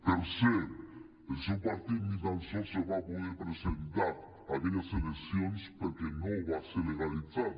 per cert el seu partit ni tan sols se va poder presentar a aquelles eleccions perquè no va ser legalitzat